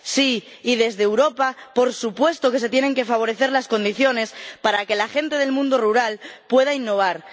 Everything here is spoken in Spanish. Sí, y desde Europa por supuesto que se tienen que favorecer las condiciones para que la gente del mundo rural pueda innovar.